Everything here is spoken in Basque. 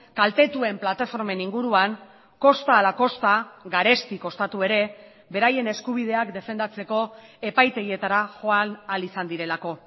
kaltetuen plataformen inguruan kosta ala kosta garesti kostatu ere beraien eskubideak defendatzeko epaitegietara joan ahal izan direlako